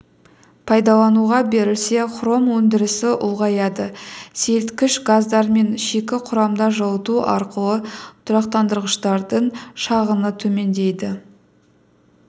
пайдалануға берілсе хром өндірісі ұлғаяды сейілткіш газдар мен шикі құрамда жылыту арқылы тұрақтандырғыштардың шығыны төмендейді